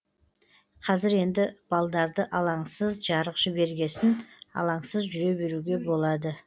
қазір енді балдарды алаңсыз жарық жібергесін алаңсыз жүре беруге болады